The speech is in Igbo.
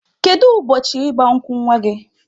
Kedu ụbọchị ịgba nkwụ nwa gị?